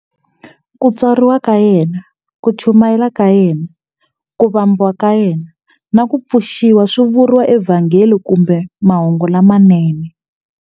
Ku tswariwa ka yena, ku chumayela ka yena, ku vambiwa ka yena, na ku pfuxiwa swi vuriwa eVhangeli kumbe Mahungu lamanene.